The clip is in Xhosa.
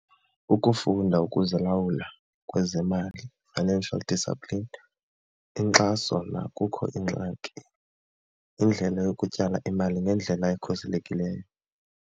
Ukufunda ukuzilalwula kwezemali financial discipline, inkxaso nakukho ingxaki, indlela yokutyala imali ngendlela ekhuselekileyo.